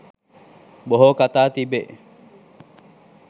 බොහෝ කතා තිබේ.